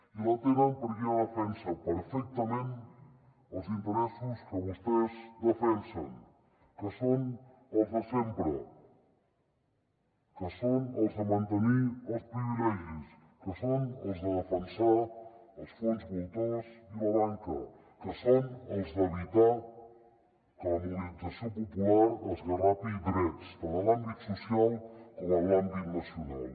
i les tenen perquè ja defensen perfectament els interessos que vostès defensen que són els de sempre que són els de mantenir els privilegis que són els de defensar els fons voltors i la banca que són els d’evitar que la mobilització popular esgarrapi drets tant en l’àmbit social com en l’àmbit nacional